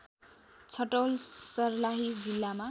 छटौल सर्लाही जिल्लामा